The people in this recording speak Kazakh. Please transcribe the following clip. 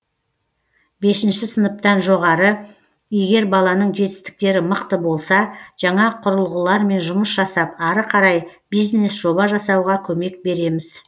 бесінші сыныптан жоғары егер баланың жетістіктері мықты болса жаңа құрылғылармен жұмыс жасап ары қарай бизнес жоба жасауға көмек береміз